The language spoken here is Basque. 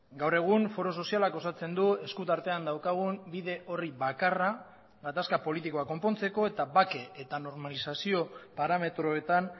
gaur egun foro sozialak osatzen du eskuartean daukagun bide horri bakarra gatazka politikoa konpontzeko eta bake eta normalizazio parametroetan